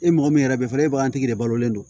E mɔgɔ min yɛrɛ bɛ fɔ e bagantigi de balolen don